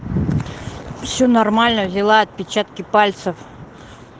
все нормально взяла отпечатки пальцев